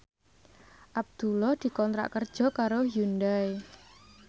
Abdullah dikontrak kerja karo Hyundai